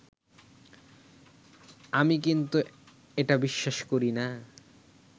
আমি কিন্তু এটা বিশ্বাস করি না